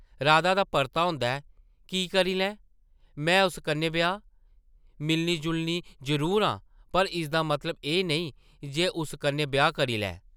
राधा दा परता होंदा ऐ, ‘‘की करी लैं में उस कन्नै ब्याह्? मिलनी-जुलनी जरूर आं पर इसदा मतलब एह् नेईं जे उस कन्नै ब्याह् करी लैं ।’’